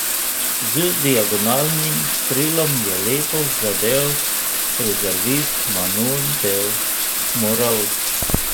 Z diagonalnim strelom je lepo zadel rezervist Manu Del Moral.